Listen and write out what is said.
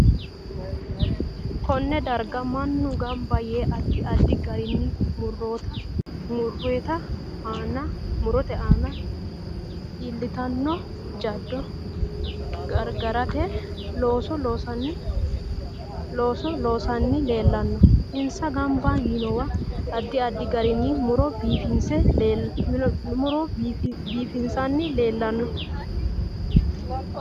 Konne darga mannu ganba yee addi addi garinni murote aana iilitanno jaddo gargarate looso loosanni leelanno insa ganba yiinowa addi addi garinni muro biifisanni leelanno